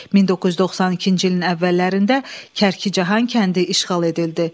1992-ci ilin əvvəllərində Kərkicahan kəndi işğal edildi.